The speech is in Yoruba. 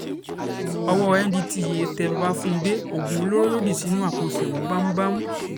ọwọ́ ndtea tẹ babatúndé oògùn olóró ló dì sínú àpò ṣémó bámúbámú